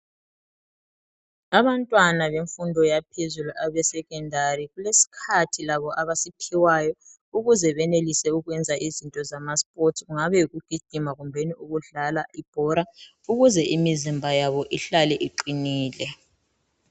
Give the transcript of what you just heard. Abantwana bemfundo yaphezulu abeSecondary balesikhathi labo abasiphiwayo ukuze benelise ukwenza izinto zamaSports kungabe yikugijima kumbe ukudlala ibhora ukuze imizimba yabo ihlale iqinile.